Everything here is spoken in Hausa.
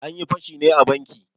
Anyi fashin ne a banki.